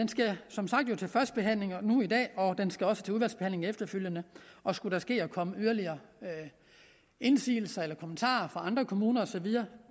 som sagt nu til første behandling i dag og det skal også til udvalgsbehandling efterfølgende og skulle det ske at der kommer yderligere indsigelser eller kommentarer fra andre kommuner og så videre